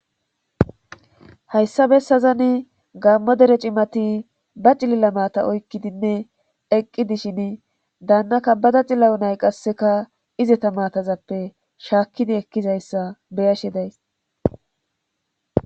hayssa bessazani gaammo dere cimati ba cilila mata oykkidinne eqqi dishini daannaka bada cillayo nay qasseka izeta maatazappe shaakkidi ekkizayssa beyashe days